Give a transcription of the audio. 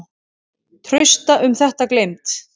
Trausta um þetta gleymd.